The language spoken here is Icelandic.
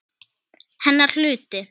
Hennar hluti.